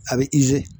A bɛ